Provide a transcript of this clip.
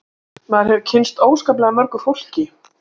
Maður hefur kynnst óskaplega mörgu fólki